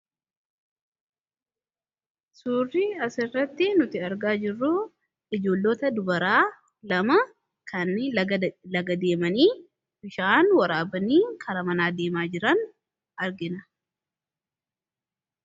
suurrii asirratti nuti argaa jirruu ijoollota dubaraa lama kan lagadeemanii bishaan waraabanii kara manaadeemaa jiran argina